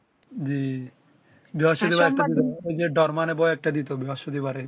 জ্বি ঐ যে ডোর মানে ভয় একটা দিতো বৃহস্পতিবারে